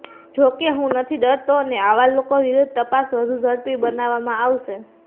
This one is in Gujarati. જોકે હું નથી ડરતો અને આવા લોકો વિરુદ્ધ તપાસ વધુ ઝડપી બનાવવામાં આવશે